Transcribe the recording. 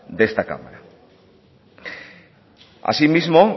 de esta cámara asimismo